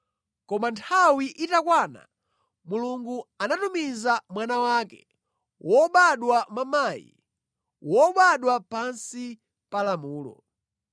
Koma nthawi itakwana, Mulungu anatumiza Mwana wake, wobadwa mwa mayi, wobadwa pansi pa lamulo,